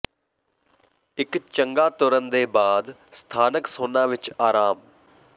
ਇੱਕ ਚੰਗਾ ਤੁਰਨ ਦੇ ਬਾਅਦ ਸਥਾਨਕ ਸੌਨਾ ਵਿੱਚ ਆਰਾਮ